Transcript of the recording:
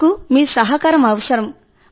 మాకు మీ సహకారం అవసరం